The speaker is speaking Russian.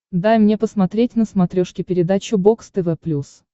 дай мне посмотреть на смотрешке передачу бокс тв плюс